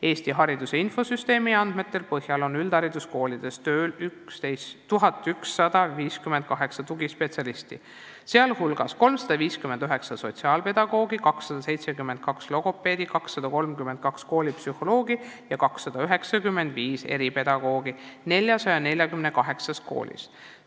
Eesti Hariduse Infosüsteemi andmete põhjal on üldhariduskoolides tööl 1158 tugispetsialisti, sh 359 sotsiaalpedagoogi, 272 logopeedi, 232 koolipsühholoogi ja 295 eripedagoogi 448 koolis.